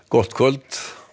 gott kvöld